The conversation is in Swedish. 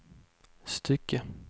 stycke